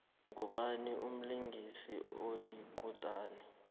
ngubani umlingisi oyikutani